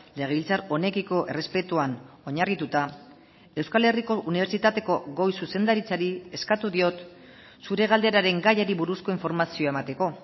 legebiltzar honekiko errespetuan oinarrituta euskal herriko unibertsitateko goi zuzendaritzari eskatu diot zure galderaren gaiari buruzko informazioa emateko